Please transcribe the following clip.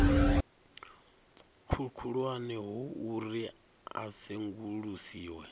khulwane ho uri a sengulusiwe